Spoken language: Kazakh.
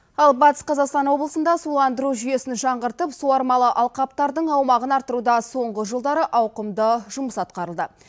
ал батыс қазақстан облысында суландыру жүйесін жаңғыртып суармалы алқаптардың аумағын арттыруда соңғы жылдары ауқымды жұмыс атқарылды